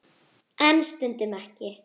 En stundum ekki.